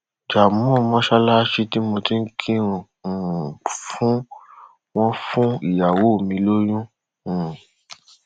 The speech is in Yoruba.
janmoon mọsálásí tí mo ti ń kírun um fún wọn fún ìyàwó mi lóyún um